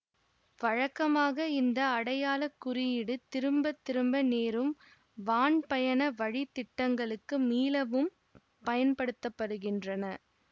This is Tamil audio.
வழக்கமாக இந்த அடையாள குறியீடு திரும்ப திரும்ப நேரும் வான்பயண வழித்திட்டங்களுக்கு மீளவும் பயன்படுத்த படுகின்றன